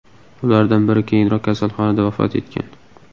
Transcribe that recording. Ulardan biri keyinroq kasalxonada vafot etgan.